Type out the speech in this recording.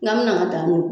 N'an mɛna da o